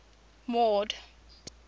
mord